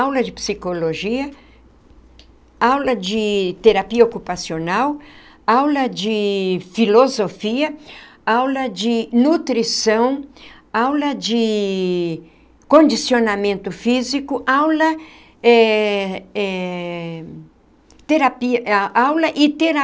Aula de psicologia, aula de terapia ocupacional, aula de filosofia, aula de nutrição, aula de condicionamento físico, aula eh eh terapia ah aula e